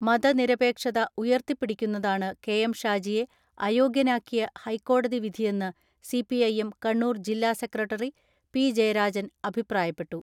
മതനിരപേക്ഷത ഉയർത്തിപിടിക്കുന്നതാണ് കെ.എം ഷാജിയെ അയോഗ്യനാക്കിയ ഹൈക്കോടതി വിധിയെന്ന് സി.പി.ഐ.എം കണ്ണൂർ ജില്ലാ സെക്രട്ടറി പി ജയരാജൻ അഭിപ്രായപ്പെട്ടു.